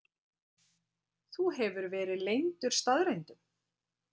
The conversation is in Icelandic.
Þú hefur verið leyndur staðreyndum.